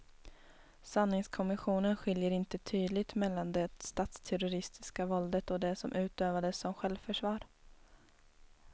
Sanningskommissionen skiljer inte tydligt mellan det statsterroristiska våldet och det som utövades som självförsvar.